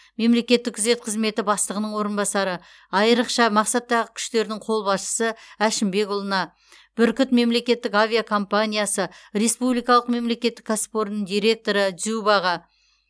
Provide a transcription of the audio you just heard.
мемлекеттік күзет қызметі бастығының орынбасары айрықша мақсаттағы күштердің қолбасшысы әшімбекұлына бүркіт мемлекеттік авиакомпаниясы республикалық мемлекеттік кәсіпорнының директоры дзюбаға